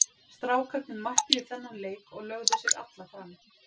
Strákarnir mættu í þennan leik og lögðu sig alla fram.